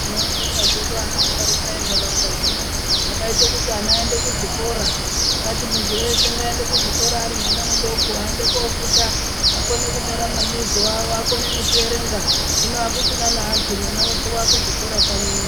Tinobonga zvedu anamusharukwa entaraunda dzino akaite kuti ana aende kuzvikora, akati muntu weshe ngaende kuzvikora ari mwana mudoko aende kofunda akone kunyora mabizo avo akone nekuverenga hino akuchina nevantu mwana weshe wakuzvikora kanyi uno.